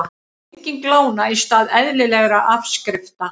Lenging lána í stað eðlilegra afskrifta